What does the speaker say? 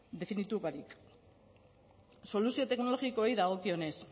definitu barik soluzio teknologikoei dagokionez